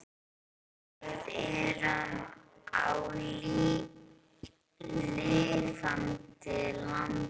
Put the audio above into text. Við erum á lifandi landi.